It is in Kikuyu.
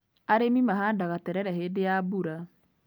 Arĩmi mahandaga terere hĩndĩ ya mbura.